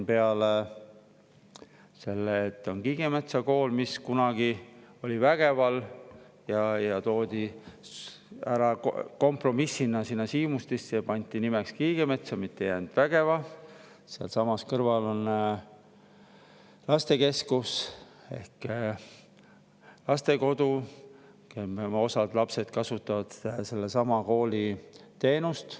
Peale selle, et Siimustis on Kiigemetsa Kool, mis kunagi oli Vägeval ja toodi kompromissina ära sinna Siimustisse ja pandi nimeks Kiigemetsa, mitte ei jäänud Vägeva, on sealsamas kõrval lastekeskus ehk lastekodu ja osa selle lapsi kasutab sellesama kooli teenust.